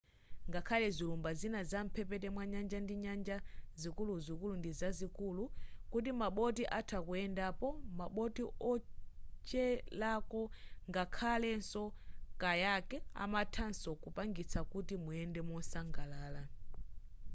ngakhale zilumba zina za mphepete mwanyanja ndi nyanja zikuluzikulu ndizazikulu kuti ma boti atha kuyendapo ma boti wocherako ngakhalenso kayak amathanso kupangitsa kuti muyende mosangalala